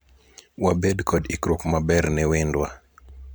wabed kod ikruok maber ne wendwa